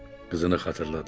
Qızını xatırladı.